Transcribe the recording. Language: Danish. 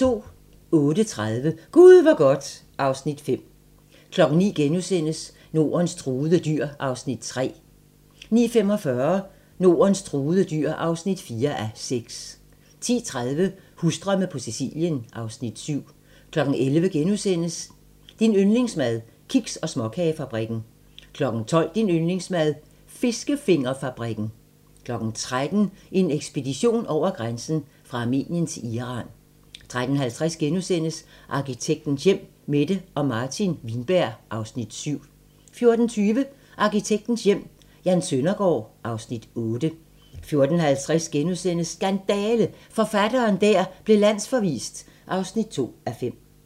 08:30: Gud hvor godt (Afs. 5) 09:00: Nordens truede dyr (3:6)* 09:45: Nordens truede dyr (4:6) 10:30: Husdrømme på Sicilien (Afs. 7) 11:00: Din yndlingsmad: Kiks- og småkagefabrikken * 12:00: Din yndlingsmad: Fiskefingerfabrikken 13:00: En ekspedition over grænsen: Fra Armenien til Iran 13:50: Arkitektens hjem: Mette og Martin Wienberg (Afs. 7)* 14:20: Arkitektens Hjem: Jan Søndergaard (Afs. 8) 14:50: Skandale! - forfatteren der blev landsforvist (2:5)*